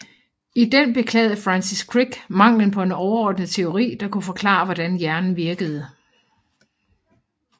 I den beklagede Francis Crick manglen på en overordnet teori der kunne forklare hvordan hjernen virkede